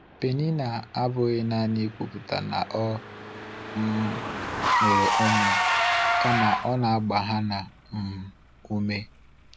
Peninnah abụghị nanị ikwupụta na ọ um nwere ụmụ, kama ọ na-agba Hana um ume.